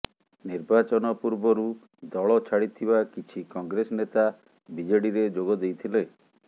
ନିର୍ବାଚନ ପୂର୍ବରୁ ଦଳ ଛାଡିଥିବା କିଛି କଂଗ୍ରେସ ନେତା ବିଜେଡିରେ ଯୋଗ ଦେଇଥିଲେ